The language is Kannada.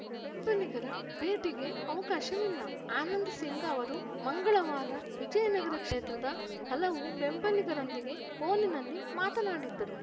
ಬೆಂಬಲಿಗರ ಭೇಟಿಗೆ ಅವಕಾಶವಿಲ್ಲ ಆನಂದ್‌ ಸಿಂಗ್‌ ಅವರು ಮಂಗಳವಾರ ವಿಜಯನಗರ ಕ್ಷೇತ್ರದ ಹಲವು ಬೆಂಬಲಿಗರೊಂದಿಗೆ ಫೋನಿನಲ್ಲಿ ಮಾತನಾಡಿದ್ದರು